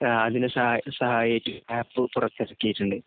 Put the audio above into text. അതിനു സഹായകമായിട്ടു ആപ്പ് പുറത്തിറക്കിയിട്ടുണ്ട്.